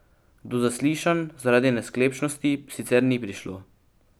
Do zaslišanj zaradi nesklepčnosti sicer ni prišlo.